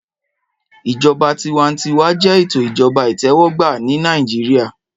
Ìjọba tiwantiwa jẹ́ ètò Ìjọba itẹwọgba ni Naijiria